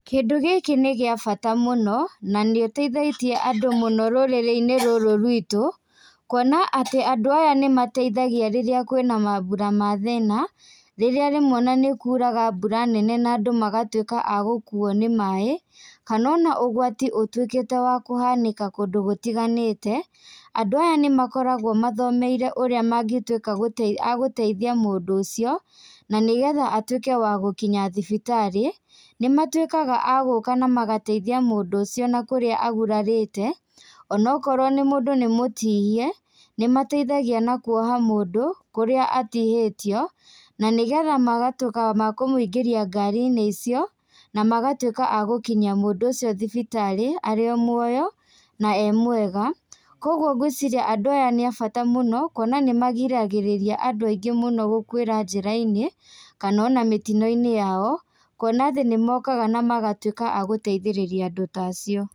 Kĩndũ gĩkĩ nĩ gĩa bata mũno, nanĩũteithĩtie andũ mũno rũrĩrĩ-inĩ rũrũ rwitũ, kuona atĩ andũ aya nĩmaetithagia rĩrĩa kwĩna mambura ma thĩna, rĩrĩa rĩmwe na nĩkuraga mbura nene na andũ magatuĩka a gũkuo nĩ maĩ, kanona ũgwati ũtuĩkĩte wa kũhanĩka kũndũ gũtiganĩte, andũ aya nĩmakoragwo mathomeire ũrĩa mangĩtuĩka agũteithia mũndũ ũcio, nanĩgetha atuĩke wa gũkinya thibitarĩ, nĩmatuĩkaga a gũka na magateithia mũndũ ũcio nakũrĩa agurarĩte, onokorwo nĩ mũndũ nĩ mũtihie, nĩmateithagia na kuoha mũndũ kũrĩa atihĩtio, nanĩgetha magatuĩka ma kũmũingĩria ngari-inĩ icio, na magatuĩka agũkinyia mũndũ ũcio thibitarĩ arĩ o muoyo, na e mwega, koguo ngwĩciria nadũ aya nĩ a bata mũno, kuona nĩmagiragĩrĩria andũ aingĩ mũno gũkuĩra njĩra-inĩ, kanona mĩtino-inĩ yao, kuona atĩ nĩmokaga na magatuĩka a gũteithĩrĩria andũ ta acio.